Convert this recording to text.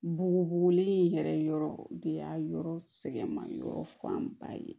Bugubugulen in yɛrɛ yɔrɔ de y'a yɔrɔ sɛgɛn ma yɔrɔ fanba ye